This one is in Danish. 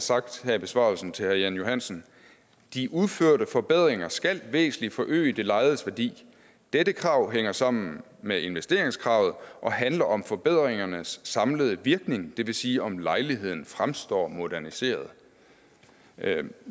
sagt her i besvarelsen til herre jan johansen de udførte forbedringer skal væsentlig forøge det lejedes værdi dette krav hænger sammen med investeringskravet og handler om forbedringernes samlede virkning det vil sige om lejligheden fremstår moderniseret jeg